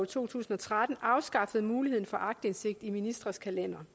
to tusind og tretten afskaffede muligheden for aktindsigt i ministres kalendere